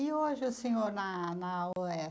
E hoje o senhor na na UESP.